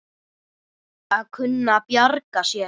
Að kunna að bjarga sér!